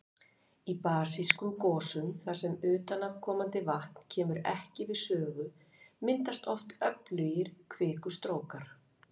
Í basískum gosum þar sem utanaðkomandi vatn kemur ekki við sögu, myndast oft öflugir kvikustrókar.